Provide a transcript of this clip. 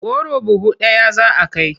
Goro buhu ɗaya za a kai.